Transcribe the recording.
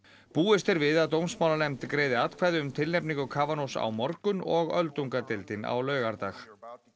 búist er við að dómsmálanefnd greiði atkvæði um tilnefningu á morgun og öldungadeildin á laugardag